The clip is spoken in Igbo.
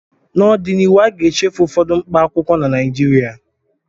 N'ọdịnihu, a ga-echefu ụfọdụ mkpaakwụkwọ na Naịjirịa